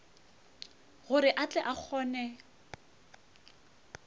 gore a tle a kgone